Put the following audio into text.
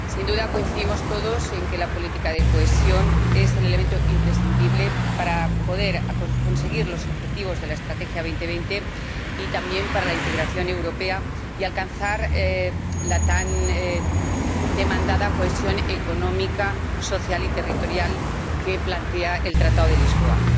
Sin duda coincidimos todos en que la política de cohesión es el elemento imprescindible para conseguir los objetivos de la Estrategia 2020, y también para lograr la integración europea y alcanzar la tan demandada cohesión económica, social y territorial que plantea el Tratado de Lisboa.